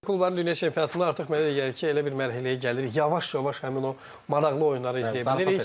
Klubların dünya çempionatında artıq mənə elə gəlir ki, elə bir mərhələyə gəlirik, yavaş-yavaş həmin o maraqlı oyunları izləyə bilirik.